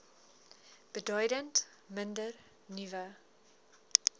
beduidend minder nuwe